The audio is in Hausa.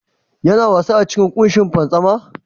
Yana wasa a cikin kushin fantsama?